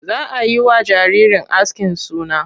Za a yi wa jaririn askin suna.